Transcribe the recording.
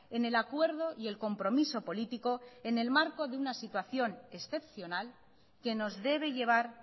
en el acuerdo y el compromiso político en el marco de una situación excepcional que nos debe llevar